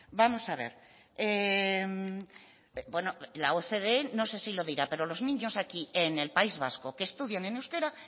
vamos a ver bueno la ocde no sé si lo dirá pero los niños aquí en el país vasco que estudian en euskera